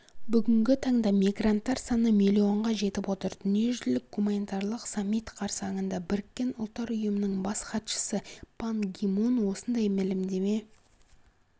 бүгінгі таңда мигранттар саны миллионға жетіп отыр дүниежүзілік гуманитарлық саммит қарсаңында біріккен ұлттар ұйымының бас хатшысы пан ги мун осындай мәлімдеме